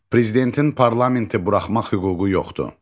Prezidentin parlamenti buraxmaq hüququ yoxdur.